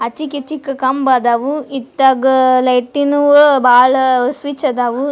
ಆಚೀಕಿಚೀಕ್ಕ್ ಕಂಬ್ ಅದಾವು ಅತ್ತಾಗ ಅ ಲೈಟಿನವು ಬಾಳ ಸ್ವಿಚ್ ಆದವು.